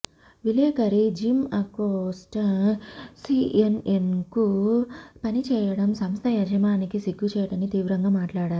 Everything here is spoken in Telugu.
విలేకరి జిమ్అకొస్ట సిఎన్ఎన్కు పనిచేయటం సంస్థ యజమానికి సిగ్గుచేటని తీవ్రంగా మాట్లాడారు